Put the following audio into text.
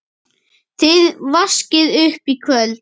Þið vaskið upp í kvöld